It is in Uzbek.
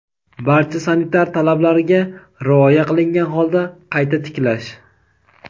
barcha sanitar talablarga rioya qilingan holda qayta tiklash.